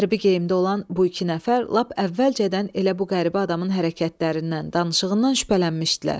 Hərbi geyimdə olan bu iki nəfər lap əvvəlcədən elə bu qəribə adamın hərəkətlərindən, danışığından şübhələnmişdilər.